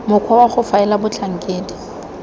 mokgwa wa go faela batlhankedi